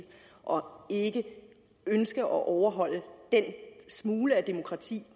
og ikke ønske at overholde den smule demokrati